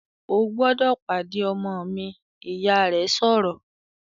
"O gbọ́dọ̀ pàdé ọmọ mi!", Ìyá rẹ̀ sọ̀rọ̀